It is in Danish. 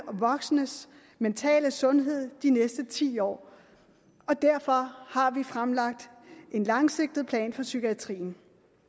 og voksnes mentale sundhed de næste ti år og derfor har vi fremlagt en langsigtet plan for psykiatrien